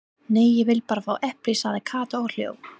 Nei, ég vil bara fá epli sagði Kata og hló.